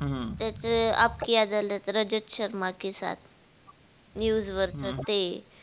हम्म त्याच आप कि अदालत रजत शर्मा के साथ news वर ते